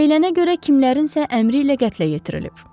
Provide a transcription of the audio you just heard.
Deyilənə görə kimlərinəsə əmri ilə qətlə yetirilib.